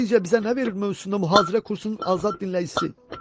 Televiziya bizə nə verir mövzusunda mühazirə kursunun azad dinləyicisi.